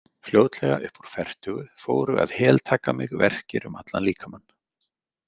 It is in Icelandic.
Fljótlega upp úr fertugu fóru að heltaka mig verkir um allan líkamann.